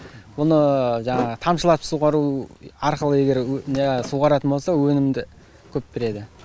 бұны жаңағы тамшылатып суғару арқылы егер суаратын болса өнімді көп береді